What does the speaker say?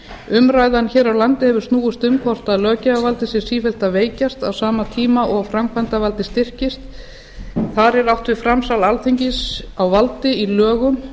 umræðan hér á landi hefur snúist um hvort löggjafarvaldið sé sífellt að veikjast á sama tíma og framkvæmdarvaldið styrkist þar er átt við framsal alþingis á valdi í lögum